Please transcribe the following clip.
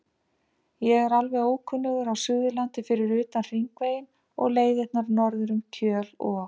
Ég er alveg ókunnugur á Suðurlandi fyrir utan Hringveginn og leiðirnar norður um Kjöl og